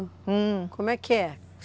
Como é que é?